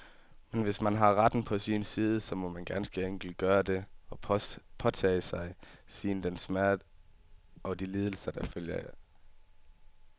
Men hvis man har retten på sin side, så må man ganske enkelt gøre det, og påtage sig den smerte og de lidelser, der følger.